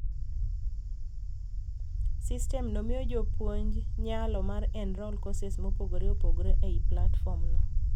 System no miyo jopunj nyalo mar enrol courses mopogore opogore ei platform no.